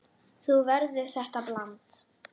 Nú verður þetta blanda.